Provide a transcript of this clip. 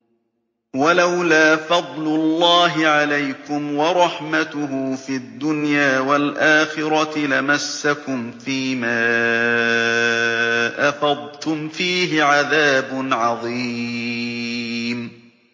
وَلَوْلَا فَضْلُ اللَّهِ عَلَيْكُمْ وَرَحْمَتُهُ فِي الدُّنْيَا وَالْآخِرَةِ لَمَسَّكُمْ فِي مَا أَفَضْتُمْ فِيهِ عَذَابٌ عَظِيمٌ